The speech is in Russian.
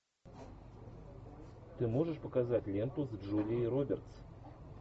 ты можешь показать ленту с джулией робертс